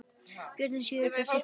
Börnin sjö nutu þess.